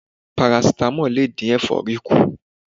Parasítámọ̀ lè dín ẹ̀fọ́rí kù.